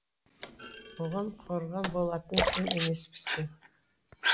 оған қорған болатын сен емеспісің